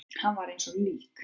Hann var eins og lík.